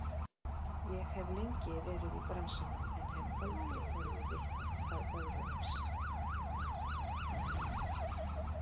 Ég hef lengi verið í bransanum en hef aldrei orðið vitni að öðru eins.